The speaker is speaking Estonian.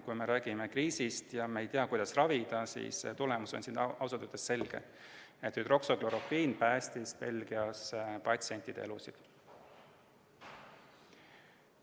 Kui me räägime kriisist ja me ei tea, kuidas ravida, siis tulemus on ausalt öeldes selge: hüdroksüklorokviin päästis Belgias patsientide elusid.